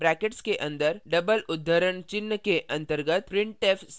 यहाँ brackets के अन्दर double उद्धरणचिह्न के अंतर्गत